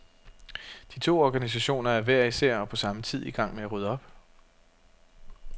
De to organisationer er hver især og på samme tid i gang med at rydde op.